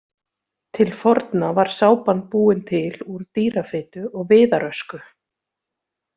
Til forna var sápan búin til úr dýrafitu og viðarösku.